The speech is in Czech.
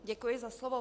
Děkuji za slovo.